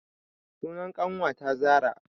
Sunan ƙanwata zara